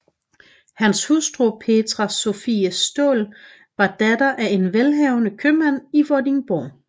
Hans hustru Petrea Sophie Staal var datter af en velhavende købmand i Vordingborg